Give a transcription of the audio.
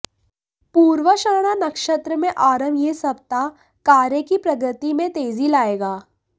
पूर्वाषाढ़ा नक्षत्र में आरंभ यह सप्ताह कार्य की प्रगति में तेजी लाएगा